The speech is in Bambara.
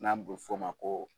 N'an b'o fɔ ma ko